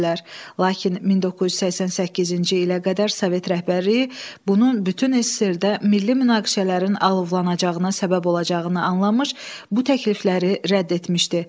Lakin 1988-ci ilə qədər Sovet rəhbərliyi bunun bütün SSR-də milli münaqişələrin alovlanacağına səbəb olacağını anlamış, bu təklifləri rədd etmişdi.